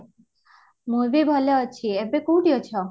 ମୁଁ ବି ଭଲ ଅଛି, ଏବେ କୋଉଠି ଅଛ?